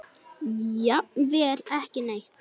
Jafnvel ekki neitt.